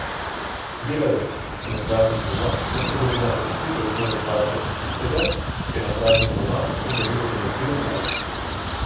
Delavec, ki na praznik dela, lahko dobi namreč nižjo osnovno plačo od tistega, ki je na praznik doma in dobi nadomestilo plače.